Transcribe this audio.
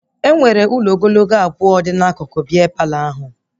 Enwere ụlọ ogologo abụọ dị n'akụkụ bịa Palọ ahụ